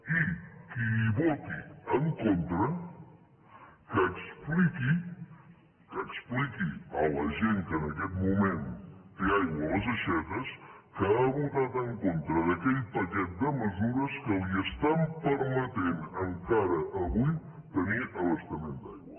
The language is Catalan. i qui hi voti en contra que expliqui a la gent que en aquest moment té aigua a les aixetes que ha votat en contra d’aquell paquet de mesures que li permeten encara avui tenir abastament d’aigua